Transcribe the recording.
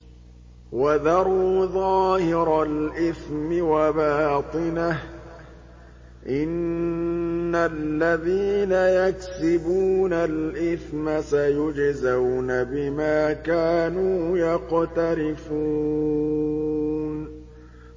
وَذَرُوا ظَاهِرَ الْإِثْمِ وَبَاطِنَهُ ۚ إِنَّ الَّذِينَ يَكْسِبُونَ الْإِثْمَ سَيُجْزَوْنَ بِمَا كَانُوا يَقْتَرِفُونَ